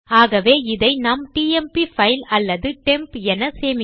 ஆகவே அதை நாம் டெம்ப் பைல் அல்லது டெம்ப் என சேமிக்கலாம்